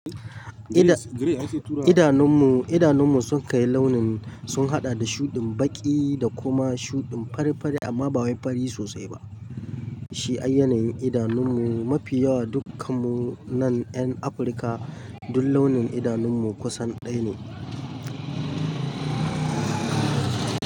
Idanunmu, idanunmu sun kai launin sun haɗa da shuɗin baƙi da kuma shuɗin fari fari amma ba wai fari sosai ba. Shi ayyanayin idanunmu mafi yawa dukkanmu nan 'yan Afirka duk launin idanunmu kusan ɗaya ne.